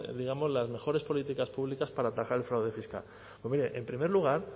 las mejores políticas públicas para atajar el fraude fiscal pues mire en primer lugar